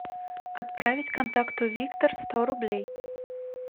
отправить контакту виктор сто рублей